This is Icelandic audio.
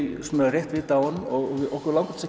rétt vita af honum okkur langar til